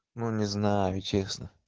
ну не знаю честно